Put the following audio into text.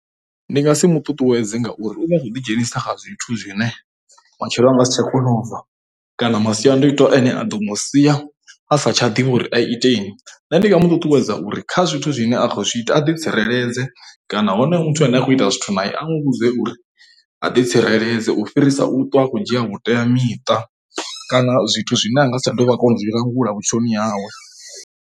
Ndi nga si muṱuṱuwedza ngauri u vha khou ḓidzhenisa kha zwithu zwine matshelo a nga si tsha kona ubva kana masiandoitwa ane a ḓo mu sia a sa tsha ḓivhi uri iteni. Nṋe ndi nga mu ṱuṱuwedza uri kha zwithu zwine a zwi ita a ḓi tsireledze kana hone muthu ane a khou ita zwithu na a nwe vhudze uri a ḓi tsireledze u fhirisa u ṱwa akho dzhia vhuteamiṱa kana zwithu zwine anga si tsha ḓo vha kona zwi langula vhutshiloni hawe.